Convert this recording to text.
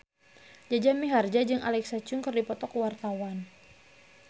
Jaja Mihardja jeung Alexa Chung keur dipoto ku wartawan